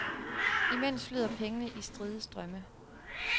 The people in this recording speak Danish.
Imens flyder pengene i stride strømme.